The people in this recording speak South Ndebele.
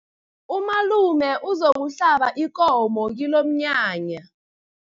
Umalume uzokuhlaba ikomo kilomnyanya.